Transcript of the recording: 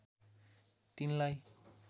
तिनलाई